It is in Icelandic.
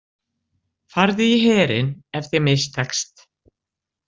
Farðu í herinn ef þér mistekst.